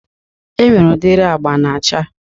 Enwere udiri agba na-acha